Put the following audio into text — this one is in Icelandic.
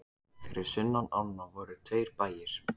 Fyrir sunnan ána voru tveir bæir.